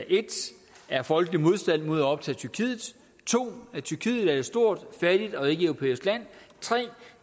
er en folkelig modstand mod at optage tyrkiet 2 at tyrkiet er et stort fattigt og ikkeeuropæisk land 3